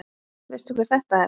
Veistu hver þetta er?